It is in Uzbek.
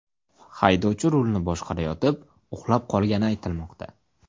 Haydovchi rulni boshqarayotib uxlab qolgani aytilmoqda.